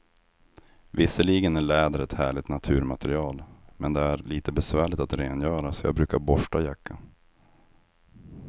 Visserligen är läder ett härligt naturmaterial, men det är lite besvärligt att rengöra, så jag brukar borsta jackan.